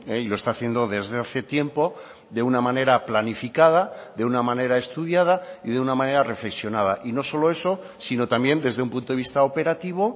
y lo está haciendo desde hace tiempo de una manera planificada de una manera estudiada y de una manera reflexionada y no solo eso sino también desde un punto de vista operativo